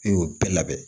I y'o bɛɛ labɛn